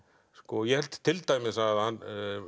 ég held til dæmis að hann